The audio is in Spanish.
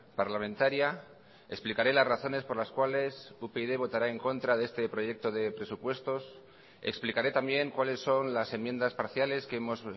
parlamentaria explicaré las razones por las cuales upyd votará en contra de este proyecto de presupuestos explicaré también cuáles son las enmiendas parciales que hemos